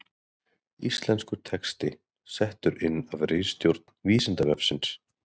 Íslenskur texti settur inn af ritstjórn Vísindavefsins